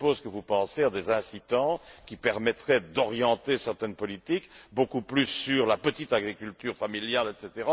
Je suppose que vous pensez à des incitants qui permettraient d'orienter certaines politiques beaucoup plus sur la petite agriculture familiale, etc.